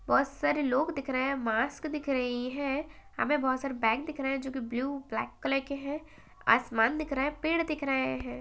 बौत सारे लोग दिख रहे हैं मास्क दिख रहीं हैं हमे बहोत सारे बैग दिख रहे हैं जोकि ब्लू ब्लैक कलर के हैं आसमान दिख रहा है पेड़ दिख रहे हैं।